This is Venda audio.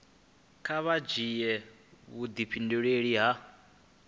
kha vha dzhia vhudifhinduleli ha